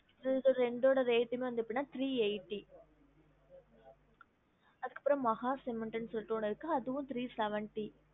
இதோட ரெண்டோட rate டுமே வந்து three eighty அதுக்கு அப்பறம் Maha cement னு சொல்லிட்டு ஒன்னு இருக்கு அதுவும் three seventy